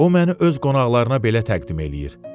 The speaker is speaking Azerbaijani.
O məni öz qonaqlarına belə təqdim eləyir.